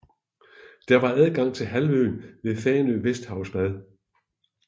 Der er adgang til halvøen ved Fanø Vesterhavsbad